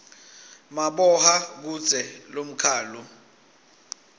maboha kudze lomkhalu